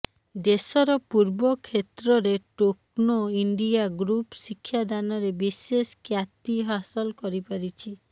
ଦେଶର ପୂର୍ବ କ୍ଷେତ୍ରରେ ଟୋକ୍ନୋ ଇଣ୍ଡିଆ ଗ୍ରୁପ୍ ଶିକ୍ଷାଦାନରେ ବିଶେଷ କ୍ୟାତି ହାସଲ କରିପାରିଛି